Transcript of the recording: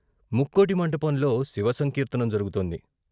ముక్కోటి మంటపంలో శివ సంకీర్తనం జరుగుతోంది.